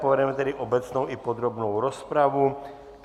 Povedeme tedy obecnou i podrobnou rozpravu.